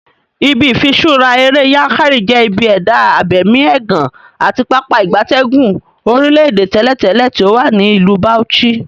Ibi ifiṣura ere Yankari je ibi eda abemi egan ati Pápá ìgbatẹ́gùn orile-ede teletele ti owa ni Ilu Bauchi.